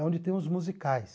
É onde tem os musicais.